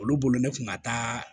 Olu bolo ne kun ka taa